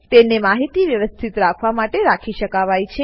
તેને માહિતી વ્યવસ્થિત રાખવા માટે રાખી શકાવાય છે